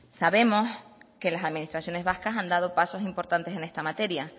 sabemos que las administraciones vascas han dado pasos importantes en esta materia